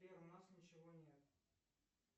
сбер у нас ничего нет